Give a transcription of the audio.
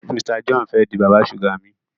Mr John fè dì bàbá suga mí.